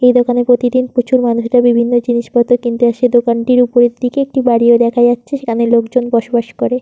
এই দোকানে প্রতিদিন প্রচুর মানুষরা বিভিন্ন জিনিসপত্র কিনতে আসে। এই দোকানটির ওপরের দিকে একটি বাড়ি ও দেখা যাচ্ছে সেখানে লোকজন বসবাস করে।